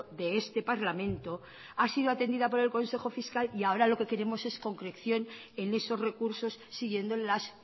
de este parlamento ha sido atendida por el consejo fiscal y ahora lo que queremos es concreción en esos recursos siguiendo las